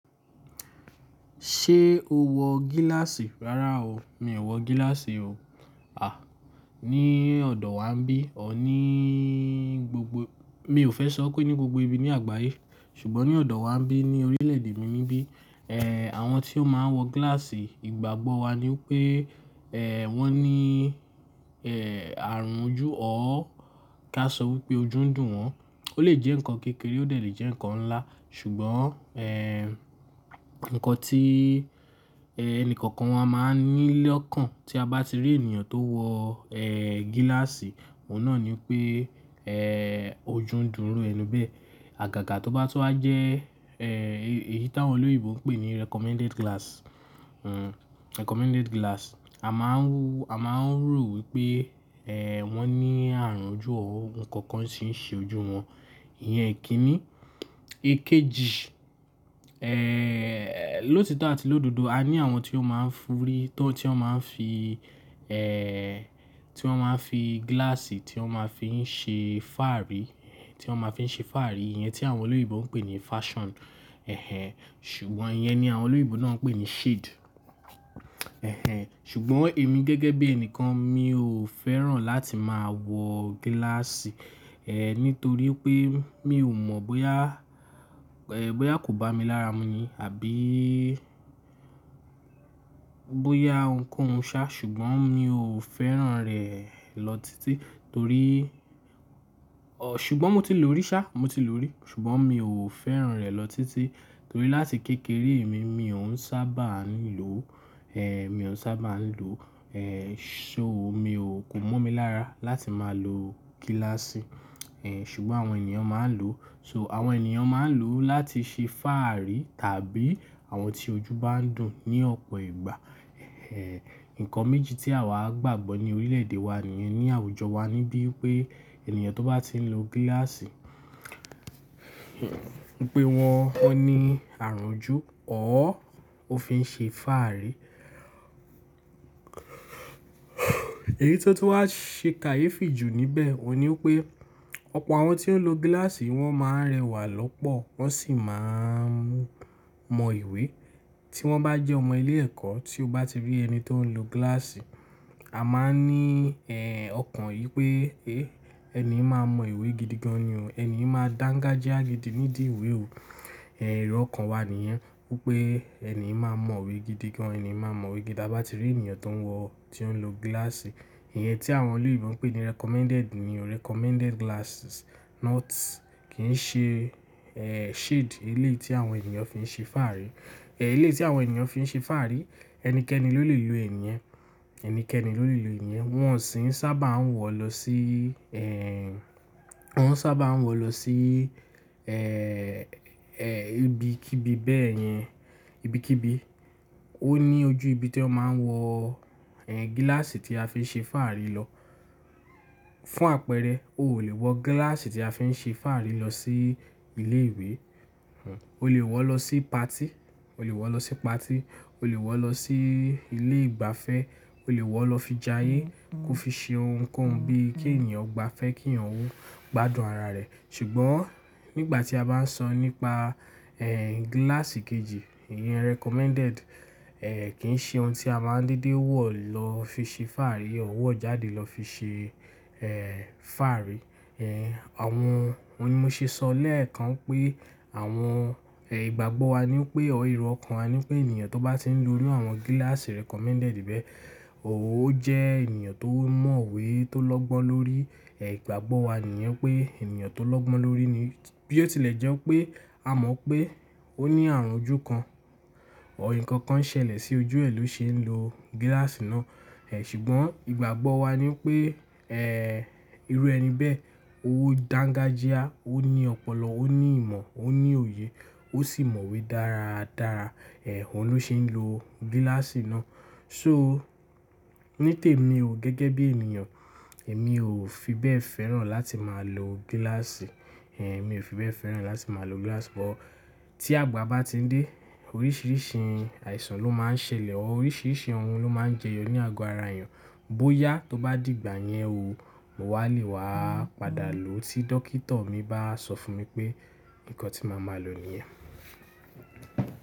Ṣé o wọ gíláàsì? Rárá o, mi ò wọ gíláàsì o. À, ní ọ̀dọ̀ wa ńbí, ọ̀ ní gbogbo-- mi ò fẹ́ sọ pé ní gbogbo ibi ní àgbáyé, ṣùgbọ́n ní ọ̀dọ̀ wa ńbí, ní orílẹ̀ èdè mi níbí, ẹ́ àwọn tí ó máa ń wọ gíláàsì, ìgbàgbọ́ wa ni pé ẹ́ wọ́n ní ẹ́ àrùn ojú ọ́. Ká sọ wípé ojú ń dùn wọ́n. Ó lè jẹ́ ǹkan kékeré, ó lè jẹ́ ǹkan ńlá, ṣùgbọ́n ẹ́ ǹkan tí ẹ́ ẹni kankan wọ́n máa ní lọ́kàn tí a bá ti rí ènìyàn tó wọ ẹ́ gíláàsì, òun náà ni pé ẹ́ ojú ń dùn iru ẹni bẹ́ẹ̀. Àgàgà tó bá tó ha jẹ́ ẹ́ èyí tí àwọn olóyèbo ń pè ní recommended glass, hmm, recommended glass. A máa ń wu-- a máa ń rò wípé ẹ́ wọ́n ní àrùn ojú ọ́ ohun kan kan sì ń ṣe ojú wọn. Iyẹn kì í ní. Ekeji, ẹ́ lọ́ti tán àti lọ́dodo, a ní àwọn tí ó máa ń f'úrí tán, tí ó máa ń fi ẹ́ tí wọ́n máa ń fi gíláàsì tí wọ́n máa ń fi ń ṣe fáàrí, tí wọ́n máa ń fi ṣe fáàrí. Iyẹn tí àwọn olóyèbo ń pè ní fashion. Ẹ̀hẹn. Ṣùgbọ́n iyẹn ni àwọn olóyibo náà ń pè ní shade. Ẹ̀hẹn. Ṣùgbọ́n èmi gẹ́gẹ́ bí ẹni kan mi ò fẹ́ràn láti máa wọ gíláàsì. Ẹ̀ nítorí pé mi ò mọ̀ bóyá ẹ́ bóyá kò bá mi lára mu ni àbí bóyá ǹkan ń ṣá, ṣùgbọ́n mi ò fẹ́ràn rẹ̀ lọ títí torí-- ọ̀ ṣùgbọ́n mo ti lò rí ṣá, mo ti lò rí, ṣùgbọ́n mi ò fẹ́ràn rẹ̀ lọ títí torí láti kékeré mi, mi ò ń sábà nílò ó. Ẹ̀ mi ò ń sábà ń lò ó. Ẹ̀ so mi ò kò mọ́ mi lára láti máa lo gíláàsì. Ẹ̀ ṣùgbọ́n àwọn ènìyàn máa ń lò ó. So àwọn ènìyàn máa ń lò ó láti ṣe fáàrí tàbí àwọn tí ojú bá ń dùn ní ọ̀pọ̀ ìgbà. Ẹ̀ nǹkan méjì tí àwa gbàgbọ́ ní orílẹ̀ èdè wa nìyẹn, ní àwùjọ wa níbí wípé ènìyàn tó bá ti ń lo gíláàsì, pé wọ́n, wọ́n ní àrùn ojú ọ́ ó fi ń ṣe fáàrí. Èyí tó tó ha ṣe kàyéfì jù níbẹ̀ òun ni wípé, ọ̀pọ̀ àwọn tí ó ń lo gíláàsì wọ́n máa ń rẹwà lọ́pọ̀, wọ́n sì máa ń mọ ìwé. Tí wọ́n bá jẹ́ ọmọ ilé ẹ̀kọ́, tí o bá ti rí ẹni tí ó ń lo gíláàsì, a máa ní ẹ́ ọkàn yìí pé, "hé ẹni yìí máa mọ ìwé gidi gan ni o, ẹni yìí máa danga je a gidi nídìí ìwé o." Ẹ̀ èrò ọkàn wa nìyẹn wípé ẹni yìí máa mọ ìwé gidi gan, ẹni yìí máa mọ ìwé gidi tí a bá ti rí ènìyàn tó ń wọ, tí ó ń lo gíláàsì. Iyẹn tí àwọn olóyèbo ń pè ní recommended ni o, recommended glasses not, kì í ṣe ẹ́ shade, ilé tí àwọn ènìyàn fi ń ṣe fáàrí. Ẹ̀ ilé tí àwọn ènìyàn fi ń ṣe fáàrí ẹnikẹ́ni ló lè lo ẹ̀yẹn, ẹnikẹ́ni ló lè lo ẹ̀yẹn. Wọ́n ò sì ń sábà ń wọ̀ lọ sí ẹ́, wọ́n ò sábà ń wọ̀ lọ sí ẹ́ ẹ́ ibi kí ibi bẹ́ẹ̀ yẹn, ibi kí ibi. Ó ní ojú ibi tí ó máa ń wọ ẹ́ gíláàsì tí a fi ń ṣe fáàrí lọ. Fún àpẹẹrẹ, o ò lè wọ gíláàsì tí a fi ń ṣe fáàrí lọ sí ilé ìwé. O lè wọ̀ lọ sí patí, o lè wọ̀ lọ sí patí, o lè wọ̀ lọ sí ilé ìgbafẹ́, o lè wọ̀ lọ fi jayé kó fi ṣe ohun kan bí i kí ènìyàn gba fẹ́ kí ìyànú gbádùn ara rẹ̀. Ṣùgbọ́n nígbà tí a bá ń sọ nípa ẹ́ gíláàsì kejì, iyẹn recommended, ẹ́ kì í ṣe ohun tí a máa ń dédé wọ̀ lọ fi ṣe fáàrí, o wọ̀ jáde lọ fi ṣe ẹ́ fáàrí. Ẹ̀ àwọn ohun tí mo ṣe sọ lẹ́ẹ̀kan pé àwọn ẹ́ ìgbàgbọ́ wa ni pé, ọ̀ èrò ọkàn wa ni pé ènìyàn tó bá ti ń lo ní àwọn gíláàsì recommended bẹ́ẹ̀, ò ó jẹ́ ènìyàn tó mọ̀wé, tó lọ́gbọ́n lórí. Ẹ̀ ìgbàgbọ́ wa nìyẹn pé ènìyàn tó lọ́gbọ́n lórí ni. Bí ó tilẹ̀ jẹ́ pé a mọ̀ pé ó ní àrùn ojú kan, ọ̀ ǹkan kan ṣẹlẹ̀ sí ojú ẹ ló ṣe ń lo gíláàsì náà. Ẹ̀ ṣùgbọ́n ìgbàgbọ́ wa ni pé ẹ́ irú ẹni bẹ́ẹ̀, ó dáńgájíá, ó ní ọpọlọ, ó ní ìmọ̀, ó ní òye, ó sì mọ̀wé dára dára. Ẹ̀ òun ló ṣe ń lo gíláàsì náà. So nítèmi o gẹ́gẹ́ bí ènìyàn, èmi ò fi bẹ́ẹ̀ fẹ́ràn láti máa lo gíláàsì. Ẹ̀ mi ò fi bẹ́ẹ̀ fẹ́ràn láti máa lo gíláàsì bọ́ tí àgbà bá ti ń dé oríṣìíríṣìí àìsàn ló máa ń ṣẹlẹ̀, ọ̀ oríṣìíríṣìí ohun ló máa ń jẹyọ ní àgọ́ ara èèyàn. Bóyá tó bá di ìgbà yẹn o, mo wà lè wá padà lò ó tí dókítà mi bá sọ fún mi pé nǹkan tí màá máa lò ní ẹ́.